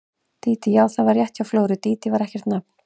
Dídí, já, það var rétt hjá Flóru, Dídí var ekkert nafn.